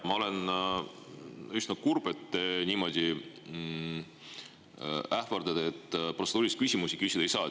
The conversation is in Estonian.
Ma olen üsna kurb, et te niimoodi ähvardate, et protseduurilisi küsimusi küsida ei saa.